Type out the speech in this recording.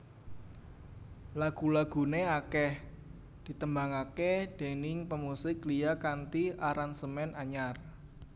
Lagu laguné akèh ditembangaké déning pemusik liya kanthi aransemen anyar